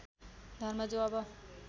धर्म जो अब